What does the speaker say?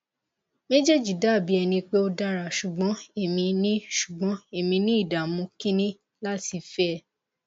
mejeji dabi ẹni pe o dara ṣugbọn emi ni ṣugbọn emi ni idamu kini lati fẹ